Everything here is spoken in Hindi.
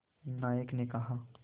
नायक ने कहा